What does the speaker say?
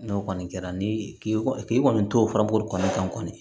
N'o kɔni kɛra ni k'i kɔni k'i kɔni t'o furabulu kɔni kan kɔni